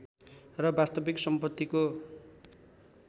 र वास्तविक सम्पत्तिको